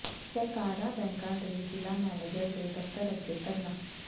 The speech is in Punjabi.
ਸਹਿਕਾਰੀ ਬੈਂਕਾਂ ਦੇ ਜ਼ਿਲ੍ਹਾ ਮੈਨੇਜਰ ਦੇ ਦਫ਼ਤਰ ਅੱਗੇ ਧਰਨਾ